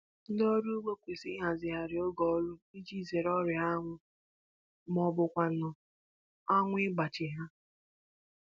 Ndị ọrụ ugbo kwesịrị ịhazigharị oge ọrụ iji zere ọrịa anwụ maọbụkwanụ anwụ ịgbaji ha